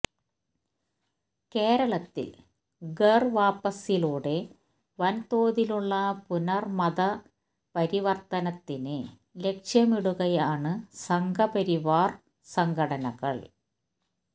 കേരളത്തിൽ ഘർ വാപ്പസിയിലൂടെ വൻതോതിലുള്ള പുനർ മതപരിവർത്തനത്തിന് ലക്ഷ്യമിടുകയാണ് സംഘപരിവാർ സംഘടനകൾ